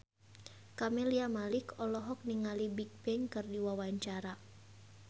Camelia Malik olohok ningali Bigbang keur diwawancara